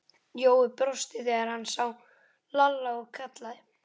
Jói brosti þegar hann sá Lalla og kallaði